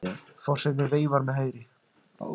Forsetinn veifar með hægri.